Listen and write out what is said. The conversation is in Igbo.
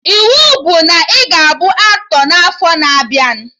Iwu bụ na ị ga-abụ aktọ n'afọ na abịa!